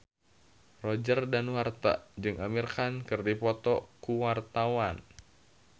Roger Danuarta jeung Amir Khan keur dipoto ku wartawan